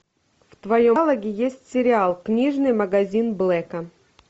в твоем каталоге есть сериал книжный магазин блэка